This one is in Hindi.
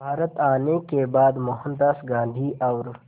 भारत आने के बाद मोहनदास गांधी और